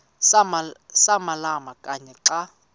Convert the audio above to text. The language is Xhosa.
samalama kanye xa